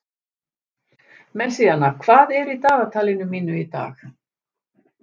Messíana, hvað er í dagatalinu mínu í dag?